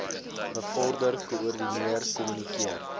bevorder koördineer kommunikeer